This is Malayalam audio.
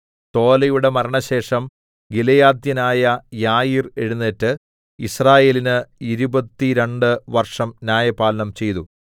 തോലയുടെ മരണശേഷം ഗിലെയാദ്യനായ യായീർ എഴുന്നേറ്റ് യിസ്രായേലിന് ഇരുപത്തുരണ്ട് വർഷം ന്യായപാലനം ചെയ്തു